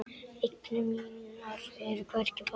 Eignir mínar eru hvergi faldar.